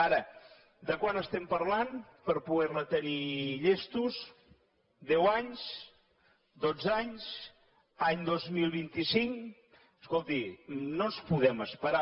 ara de quan estem parlant per poder la tenir llesta deu anys dotze anys any dos mil vint cinc escolti no ens podem esperar